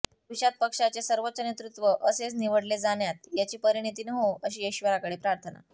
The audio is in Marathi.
भविष्यात पक्षाचे सर्वोच्च नेतृत्व असेच निवडले जाण्यात याची परिणीती न होवो अशी इश्वराकडे प्रार्थना